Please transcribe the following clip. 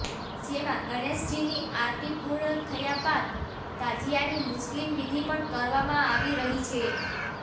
જેમાં ગણેશજીની આરતી પૂર્ણ થયા બાદ તાજીયાની મુસ્લિમ વિધિ પણ કરવામાં આવી રહી છે